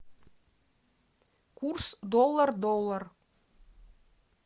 курс доллар доллар